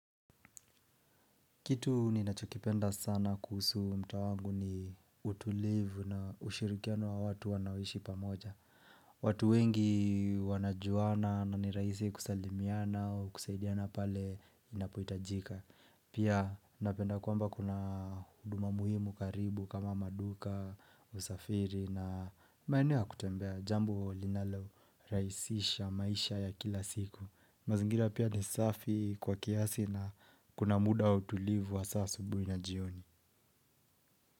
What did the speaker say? Kitu ninachokipenda sana kuhusu mtaa wangu ni utulivu na ushirikiano wa watu wanaoishi pamoja. Watu wengi wanajuana na ni rahisi kusalimiana au kusaidiana pale inapohitajika. Pia napenda kwamba kuna huduma muhimu karibu kama maduka, usafiri na maeneo ya kutembea. Jambo linalo rahisisha maisha ya kila siku. Mazingira pia ni safi kwa kiasi na kuna muda wa utulivu wa asubuhi na jioni.